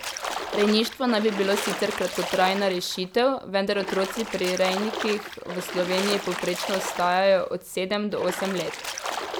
Rejništvo naj bi bilo sicer kratkotrajna rešitev, vendar otroci pri rejnikih v Sloveniji povprečno ostajajo od sedem do osem let.